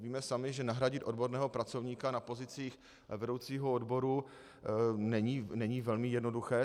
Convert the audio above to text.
Víme sami, že nahradit odborného pracovníka na pozicích vedoucího odboru není velmi jednoduché.